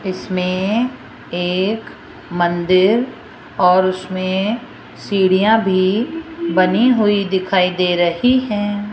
इसमें एक मंदिर और उसमें सीढ़ियां भी बनी हुई दिखाई दे रही हैं।